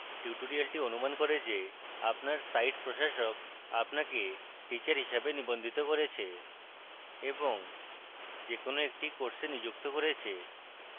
tutorial অনুমান করে যে আপনার সাইট প্রশাসক আপনাকে teacher হিসাবে নিবন্ধিত করেছে